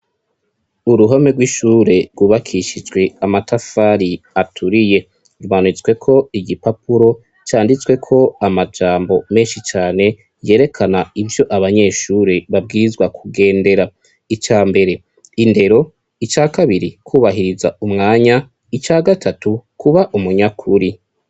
Uruhame rw'ishure rwubakishijwe amatafari aturiye rbanutsweko igi papuro canditswe ko amajambo menshi cane yerekana ivyo abanyeshure babwizwa kugendera ica mbere indero ica kabiri kubahiriza umwanya ica gatatu kuba umunyakuri.